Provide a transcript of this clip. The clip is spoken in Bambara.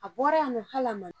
A bɔra yan nɔ hali a ma